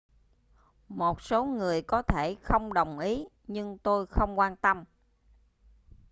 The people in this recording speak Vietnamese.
một số người có thể không đồng ý nhưng tôi không quan tâm